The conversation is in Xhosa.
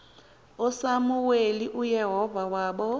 usamuweli uyehova waba